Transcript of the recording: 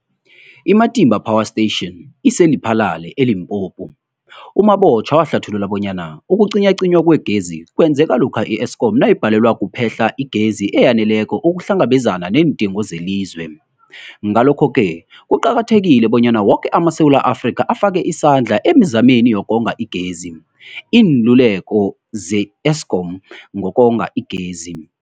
I-Matimba Power Station ise-Lephalale, eLimpopo. U-Mabotja wahlathulula bonyana ukucinywacinywa kwegezi kwenzeka lokha i-Eskom nayibhalelwa kuphe-hla igezi eyaneleko ukuhlangabezana neendingo zelizwe. Ngalokho-ke kuqakathekile bonyana woke amaSewula Afrika afake isandla emizameni yokonga igezi. Iinluleko ze-Eskom ngokonga igezi.